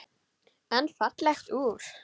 En fallegt úr.